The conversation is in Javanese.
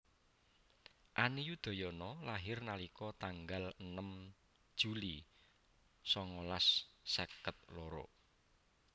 Ani Yudhoyono lahir nalika tanggal enem Juli songolas seket loro